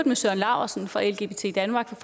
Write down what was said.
med søren laursen fra lgbt danmark